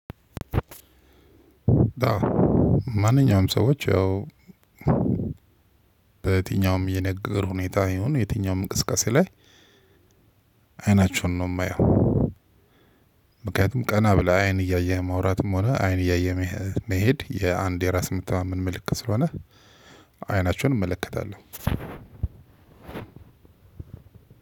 ማንኛውም ሰዎች ያው በትኛውም የነገር ሁኔታ ይሁን የትኛውም እንቅስቃሴ ላይ አይናቸውን ነው የማየው ቀና ብለህ አይን እያየህ ማውራትም ሆነ አይን እያየህ መሄድ የአንዴ ራስ የመታመን ምልክት ስለሆነ አይናቸውን እመለከታለሁ።